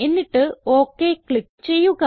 എന്നിട്ട് okay click ചെയ്യുക